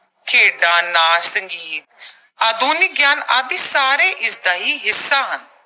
ਖੇਡਾਂ, ਨਾਚ, ਸੰਗੀਤ, ਆਧੁਨਿਕ ਗਿਆਨ ਆਦਿ ਸਾਰੇ ਇਸਦਾ ਹੀ ਹਿੱਸਾ ਹਨ।